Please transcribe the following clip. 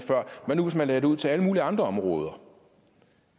hvad nu hvis man lagde det ud til alle mulige andre områder